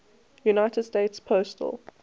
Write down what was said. united states postal